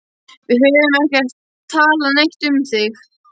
Við höfum ekkert talað neitt um þig.